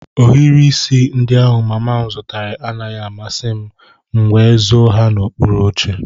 Ohiri isi ndị ahụ mama m zụtara anaghị amasị m, m nwé zó ha n'okpuru oche